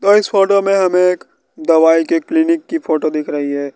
तो इस फोटो में हमें एक दवाई के क्लीनिक की फोटो दिख रही है।